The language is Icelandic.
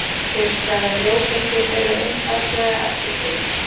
Kyrrstæðar ljóseindir eru einfaldlega ekki til.